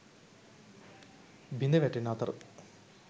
බිඳ වැටෙන අතර